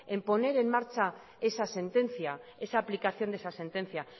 en poner en marcha esa sentencia esa aplicación de esa sentencia